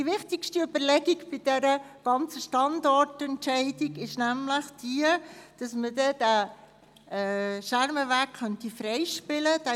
Die wichtigste Überlegung zu diesem Standardentscheid ist die, dass der Schermenweg freigespielt werden könnte.